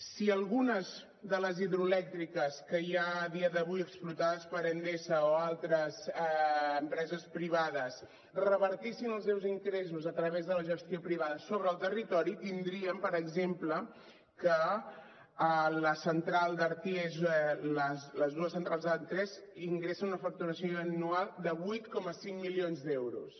si algunes de les hidroelèctriques que hi ha a dia d’avui explotades per endesa o altres empreses privades revertissin els seus ingressos a través de la gestió privada sobre el territori tindríem per exemple que la central d’arties les dues centrals d’arties ingressen una facturació anual de vuit coma cinc milions d’euros